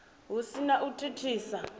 hu si na u thithisa